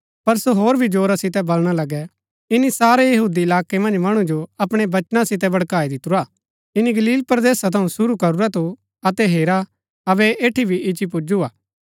पर सो होर भी जोरा सितै बलणा लगै ईनी सारै यहूदी इलाकै मन्ज मणु जो अपणै वचना सितै भड़काई दितुरा ईनी गलील परदेसा थऊँ सुरू करूरा थू अतै हेरा अबै ऐह ऐठी भी इच्ची पुज्‍जु हा